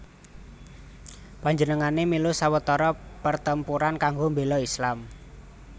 Panjenengané mèlu sawetara pertempuran kanggo mbéla Islam